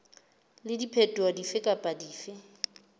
le diphetoho dife kapa dife